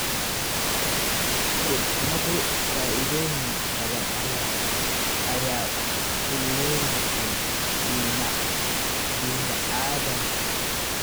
Khudradu faa'iidooyin badan ayay u leeyihiin bini'aadamka